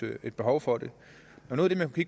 et behov for det noget af det